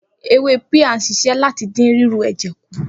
Ewé píà ń s̩is̩é̩ láti dín ríru è̩jè̩ kù